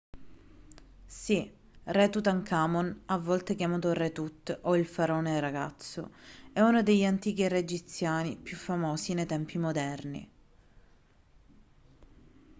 sì re tutankhamon a volte chiamato re tut o il faraone ragazzo è uno degli antichi re egiziani più famosi nei tempi moderni